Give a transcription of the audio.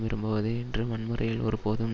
விரும்புவது என்றும் வன்முறையில் ஒருபோதும்